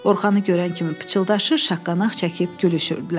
Orxanı görən kimi pıçıldaşır, şaqqanaq çəkib gülüşürdülər.